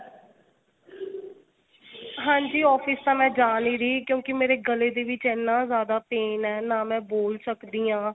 ਹਾਂਜੀ office ਤਾਂ ਮੈਂ ਜਾ ਨੀ ਰਹੀ ਕਿਉਂਕਿ ਮੇਰੇ ਗਲੇ ਦੇ ਵਿੱਚ ਇੰਨਾ ਜਿਆਦਾ pain ਏ ਨਾ ਮੈਂ ਬੋਲ ਸਕਦੀ ਆਂ.